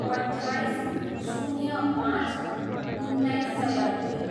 अट्ठाइस, शून्य पाँच, उन्नाइस सय दुई